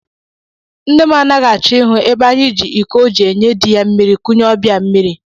Nne m anaghị achọ ihu ebe anyị ji iko ọ ji enye di ya mmiri kunye ọbịa mmiri